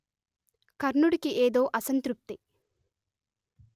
కర్ణుడికి ఏదో అసంతృప్తి